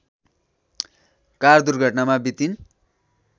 car दुर्घटनामा बितिन्